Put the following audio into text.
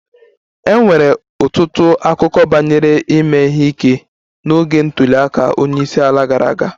E nwere ọtụtụ akụkọ banyere ime ihe ike n'oge ntuli aka onye isi ala gara aga